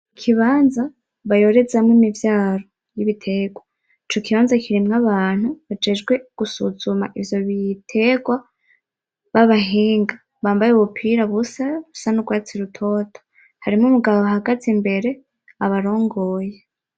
Ikibanza bayorezamwo imivyaro yibitegwa. Icokibanza kirimwo abantu bajejwe gusuzuma ivyobitegwa babahinga bambaye ubupira busa, busanugwatsi rutoto harimo umugabo abahagaze imbere imbere abarongoye.